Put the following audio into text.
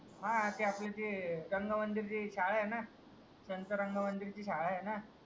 हा आपलं ते रंगमंदीरची शाळा आहे ना त्यांचा रंग मंदिरची शाळा आहे ना